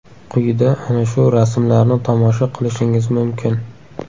Quyida ana shu rasmlarni tomosha qilishingiz mumkin.